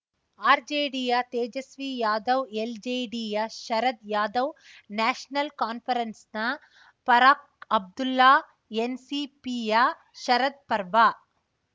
ಆರ್‌ಜೆಡಿಯ ತೇಜಸ್ವಿ ಯಾದವ್‌ ಎಲ್‌ಜೆಡಿಯ ಶರದ್‌ ಯಾಧವ್‌ ನ್ಯಾಷನಲ್‌ ಕಾನ್ಫರೆನ್ಸ್‌ನ ಫಾರಖ್‌ ಅಬ್ದುಲ್ಲಾ ಎನ್‌ಸಿಪಿಯ ಶರದ್‌ ಪರ್ವಾ